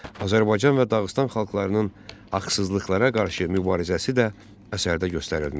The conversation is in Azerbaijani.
Azərbaycan və Dağıstan xalqlarının haqsızlıqlara qarşı mübarizəsi də əsərdə göstərilmişdir.